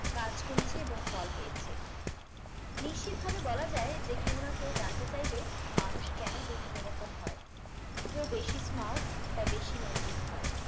কাজ করেছে এবং ফল পেয়েছে নিশ্চিতভাবে বলা যায় যে কেউ না কেউ জানতে চাইবে মানুষ কেনো বিভিন্ন রকম হয় কেউ বেশি smart বা বেশি নৈতিক হয়